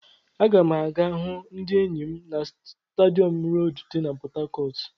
Aga m aga hụ ndị enyi m na stadium road di na Port Harcourt.